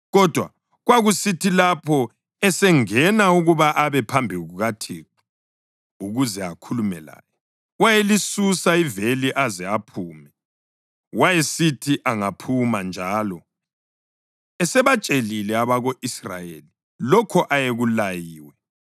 Kodwa kwakusithi lapho esengena ukuba abe phambi kukaThixo ukuze akhulume laye, wayelisusa iveli aze aphume. Wayesithi angaphuma, njalo esebatshelile abako-Israyeli lokho ayekulayiwe,